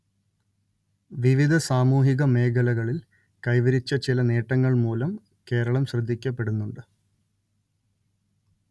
വിവിധ സാമൂഹിക മേഖലകളിൽ കൈവരിച്ച ചില നേട്ടങ്ങൾ മൂലം കേരളം ശ്രദ്ധിക്കപ്പെടുന്നുണ്ട്